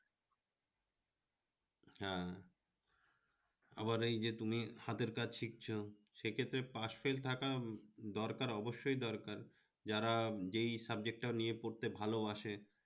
হ্যাঁ আমার এই যে তুমি হাতের কাজ শিখছো সেক্ষেত্রে pass-fail থাকা দরকার অবশ্যই দরকার, যারা যেই subject টা নিয়ে পড়তে ভালোবাসে